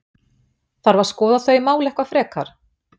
Þarf að skoða þau mál eitthvað frekar?